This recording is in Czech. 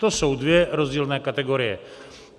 To jsou dvě rozdílné kategorie.